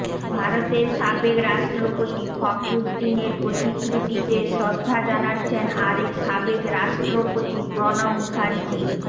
ভারতের সাবেক রাষ্ট্রপতি ফখরুদ্দিনের প্রতিকৃতিতে শ্রদ্ধা জানাচ্ছেন আরেক সাবেক রাষ্ট্রপতি প্রণব মুখার্জি